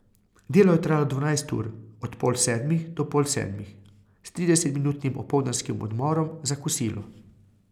Delo je trajalo dvanajst ur, od pol sedmih do pol sedmih, s tridesetminutnim opoldanskim odmorom za kosilo.